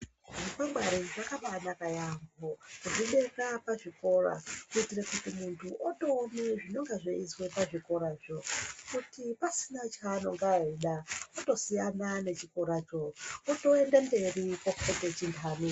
Zvikwangwari zvakabanaka yaambo kuzvibeka pazvikora kuitire kuti muntu otoone zvinenge zveiizwe pazvikorazvo kuti pasina chaanonga eiida otosiyana nechikoracho otoende mberi kokote chindani.